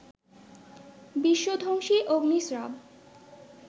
বিশ্ব-ধ্বংসী অগ্নিস্রাব